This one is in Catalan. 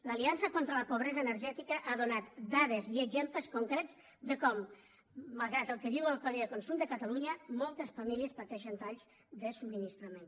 l’aliança contra la pobresa energètica ha donat dades i exemples concrets de com malgrat el que diu el codi de consum de catalunya moltes famílies pateixen talls de subministrament